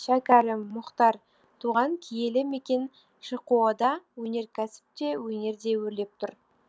шәкәрім мұхтар туған киелі мекен шқо да өнеркәсіп те өнер де өрлеп тұр